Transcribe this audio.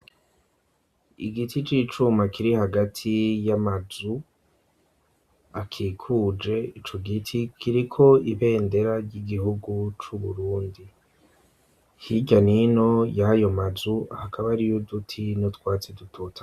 Igiti c'icuma kiri hagati y'amazu akikuje ico giti, kiriko ibendera ry'igihugu c'u Burundi, hirya n'ino y'ayo mazu hakaba hariyo uduti n'utwatsi dutotahaye.